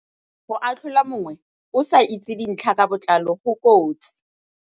Go atlhola mongwe o sa itse dintlha ka botlalo go kotsi.